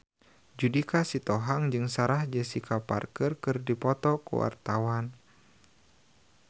Judika Sitohang jeung Sarah Jessica Parker keur dipoto ku wartawan